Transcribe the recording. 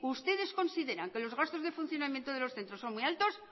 ustedes consideran que los gastos de funcionamiento de los centros son muy altos